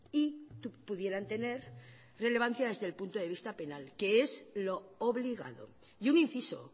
y pudieran tener relevancia desde el punto de vista penal que es lo obligado y un inciso